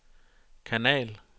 kanal